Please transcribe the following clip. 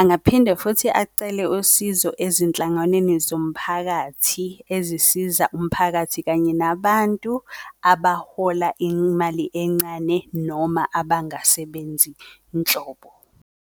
Angaphinde futhi acele usizo ezinhlanganweni zomphakathi ezisiza umphakathi, kanye nabantu abahola imali encane noma abangasebenzi nhlobo.